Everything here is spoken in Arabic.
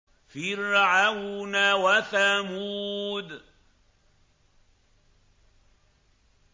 فِرْعَوْنَ وَثَمُودَ